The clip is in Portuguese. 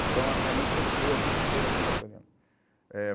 Então, a minha mãe sofreu a vida inteira com a falta dela. Eh